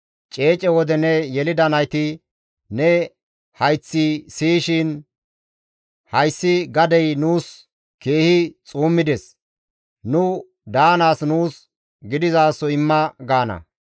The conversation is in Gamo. Ceece wode ne yelida nayti, ne hayththi siyishin, ‹Hayssi gadey nuus keehi xuummides; nu daanaas nuus gidizaso imma› gaana.